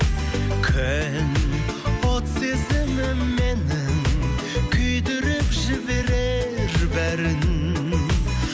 күн от сезімім менің күйдіріп жіберер бәрін